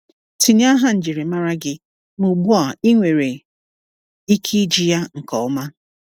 Tinye aha njirimara gị, ma ugbu a ị nwere ike iji ya nke ọma.